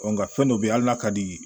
nka fɛn dɔ bɛ yen hali n'a ka di